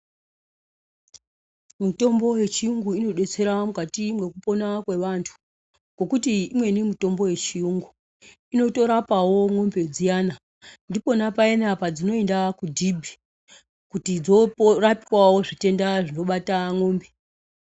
Mitombo yechiungu inodetsera mukati mwekupona kwevantu ngekuti imweni mitombo yechiungu inotorapawo mwombe dziyana ndiponapayani padzinoenda kudhibhi kutidzinorapwawo zvitenda zvino bata mwombe.